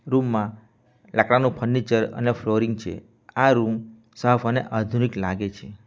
Room માં લાકડાનું furniture અને ફ્લોરિંગ છે આ રૂમ સાફ અને આધુનિક લાગે છે.